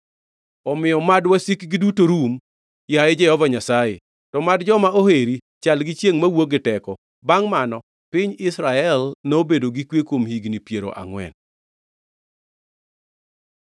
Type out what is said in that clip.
“Omiyo mad wasikgi duto rum, yaye Jehova Nyasaye! To mad joma oheri chal gi chiengʼ, mawuok gi teko.” Bangʼ mano piny Israel nobedo gi kwe kuom higni piero angʼwen.